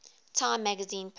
time magazine persons